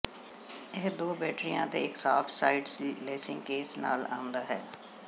ਇਹ ਦੋ ਬੈਟਰੀਆਂ ਅਤੇ ਇੱਕ ਸਾਫਟ ਸਾਈਡਡ ਲੈਸਿੰਗ ਕੇਸ ਨਾਲ ਆਉਂਦਾ ਹੈ